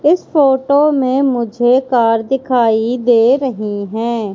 इस फोटो में मुझे कार दिखाई दे रहीं हैं।